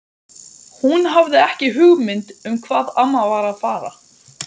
Hún hafði ekki hugmynd um hvað amma var að fara.